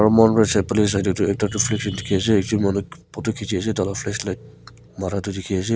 Aro mokhan para side phale sai dae tuh ekta tuh dekhe ase ekjun manu photo kechi ase taila flashlight mara tuh dekhe ase.